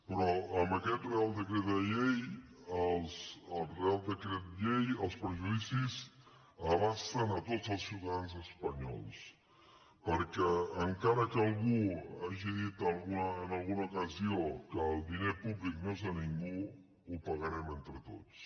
però amb aquest reial decret llei els perjudicis abasten a tots els ciutadans espanyols perquè encara que algú hagi dit en alguna ocasió que el diner públic no és de ningú ho pagarem entre tots